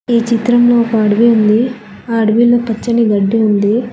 ఈ చిత్రంలో ఒక అడివి ఉంది ఆ అడివిలో పచ్చని గడ్డి ఉంది.